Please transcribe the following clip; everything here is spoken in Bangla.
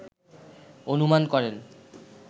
অনুমান করেন